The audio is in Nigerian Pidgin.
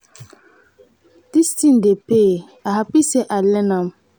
dis thing dey pay i happy say i learn am.